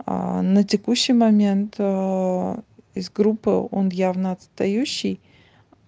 на текущий момент из группы он явно отстающий